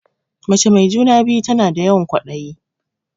Mace mai juna-biyu tana da yawan ƙwaɗayi.